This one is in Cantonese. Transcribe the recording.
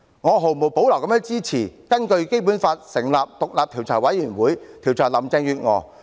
我毫無保留地支持根據《基本法》成立獨立調查委員會，調查林鄭月娥。